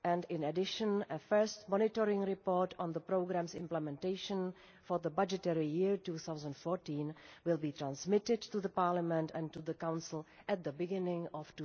In addition, a first monitoring report on the programme's implementation for the budgetary year 2014 will be transmitted to Parliament and the Council at the beginning of